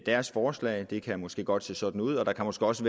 deres forslag det kan måske godt se sådan ud og der kan måske også